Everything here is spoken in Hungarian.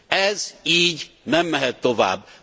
Ez így nem mehet tovább!